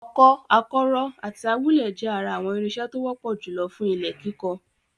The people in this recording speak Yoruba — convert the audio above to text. Ọkọ́, akọ́rọ́ àti awúlẹ̀ jẹ́ ara àwọn irinṣẹ́ tó wọ́pọ̀ jùlọ fún ilẹ̀ kíkọ.